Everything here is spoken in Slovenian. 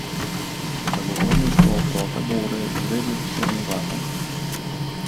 Zagovorništvo otroka bo uredil poseben zakon.